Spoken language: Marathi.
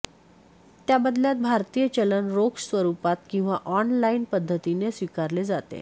त्या बदल्यात भारतीय चलन रोख स्वरुपात किंवा ऑन लाईन पध्दतीने स्विकारले जाते